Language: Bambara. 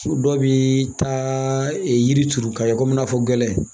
Dɔw bi taa yiri turu ka ye komi i n'a fɔ gɛlɛn